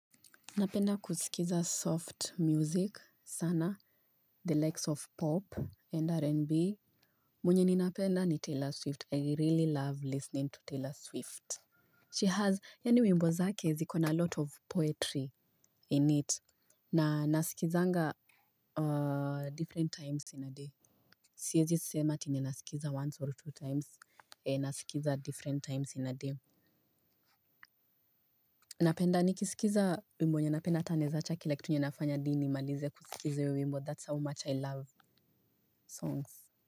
Napenda kusikiza soft music sana, the likes of pop and R&B. Mwenye ni napenda ni Taylor Swift. I really love listening to Taylor Swift. She has, yani wimbo zake zikona a lot of poetry in it. Na nasikilizaga different times in a day. Siwezi sema eti nasikiliza once or two times, nasikiliza different times in a day. Napenda ni kisikiza wimbo yenye napenda ata ninae za chakile kitu nina nafanya hadi ni malize kusikiza wimbo that's how much I love songs.